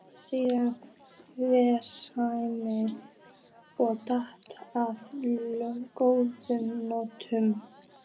Síðan hvenær er það saknæmt að dást að góðu holdi?